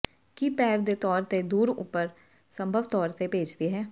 ਕੀ ਪੈਰ ਦੇ ਤੌਰ ਤੇ ਦੂਰ ਉਪਰ ਸੰਭਵ ਤੌਰ ਤੇ ਭੇਜਦੀ ਹੈ